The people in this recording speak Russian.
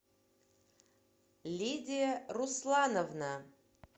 лидия руслановна